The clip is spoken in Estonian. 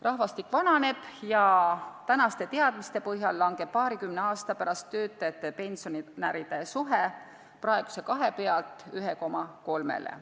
Rahvastik vananeb ja tänaste teadmiste põhjal langeb paarikümne aasta pärast töötajate ja pensionäride suhe praeguse 2 pealt 1,3-le.